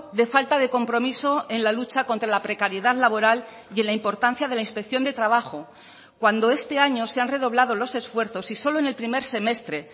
de falta de compromiso en la lucha contra la precariedad laboral y en la importancia de la inspección de trabajo cuando este año se han redoblado los esfuerzos y solo en el primer semestre